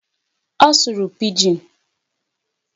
Ọ sụrụ Pidgin.